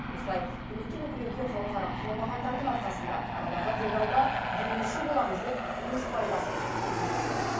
осылай үмітін үкілеуге қауқары қалмағандардың арқасында арадағы делдалдар демеуші боламыз деп өз пайдасын күйттейтін көрінеді